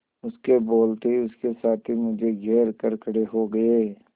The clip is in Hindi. उसके बोलते ही उसके साथी मुझे घेर कर खड़े हो गए